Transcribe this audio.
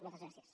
moltes gràcies